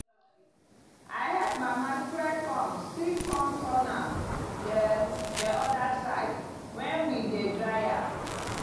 i help mama spread corn still come turn am the the other side when we dey dry am.